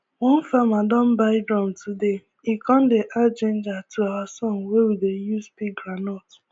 one farmer don buy drum todaye con dey add ginger to our song wey we dey use pick groundnut